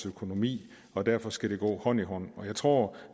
økonomi og derfor skal det gå hånd i hånd jeg tror